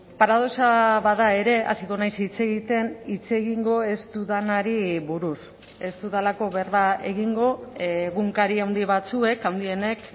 paradoxa bada ere hasiko naiz hitz egiten hitz egingo ez dudanari buruz ez dudalako berba egingo egunkari handi batzuek handienek